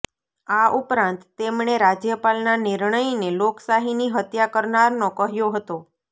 આ ઉપરાંત તેમણે રાજ્યપાલના નિર્ણયને લોકશાહીની હત્યા કરનારનો કહ્યો હતો